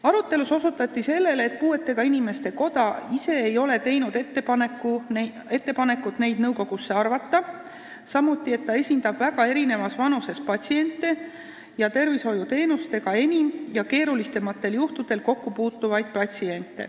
Arutelus osutati ka sellele, et puuetega inimeste koda ei ole ise teinud ettepanekut enda esindajat nõukogusse arvata, ehkki esindab väga erinevas vanuses inimesi ja patsiente, kes puutuvad enim kokku tervishoiuteenuste ja keerulisemate haigusjuhtudega.